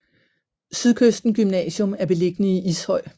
Sydkysten Gymnasium er beliggende i Ishøj